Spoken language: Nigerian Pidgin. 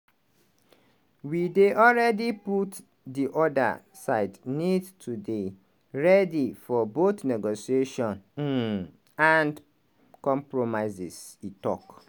we dey already put di oda side need to dey ready for both negotiation um and compromises" e tok.